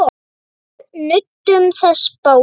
Við nutum þess báðir.